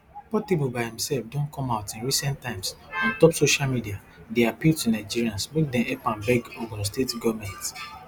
portable by imsef don come out in recent times ontop social media dey appeal to nigerians make dem help am beg ogun state goment